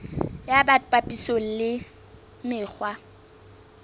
ya bt papisong le mekgwa